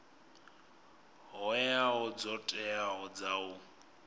hoea dzo teaho dza u